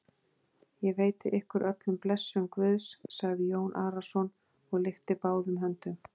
Ég veiti ykkur öllum blessun Guðs, sagði Jón Arason og lyfti báðum höndum.